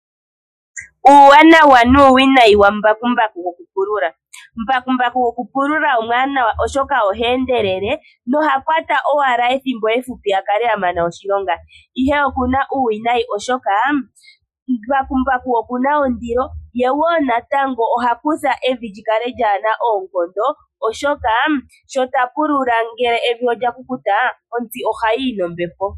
Uuwanawa nuuwinayi wambakumbaku gokupulula Mbakumbaku gokupulula omuwanawa oshoka oha endelele noha kwata owala ethimbo efupi a kale a mana oshilonga, ihe oku na uuwinayi, oshoka oku na ondilo, ye wo natango ohakutha evi li kale kaa li na oonkondo, oshoka shi ta pulula ngele evi olya kukuta, ontsi ohayi yi nombepo.